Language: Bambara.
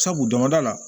Sabu dama da la